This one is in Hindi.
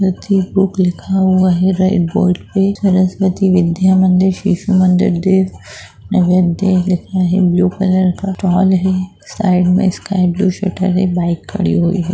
गणपति बुक लिखा हुआ है रेड बोर्ड पे सरस्वती विद्या मंदिर शिशु मंदिर नवोदय लिखा है ब्लू कलर का स्टाल है साइड में स्काई ब्लू शटर है बाइक खड़ी हुई है।